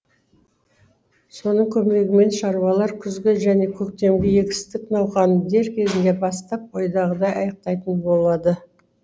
соның көмегімен шаруалар күзгі және көктемгі егістік науқанын дер кезінде бастап ойдағыдай аяқтайтын болады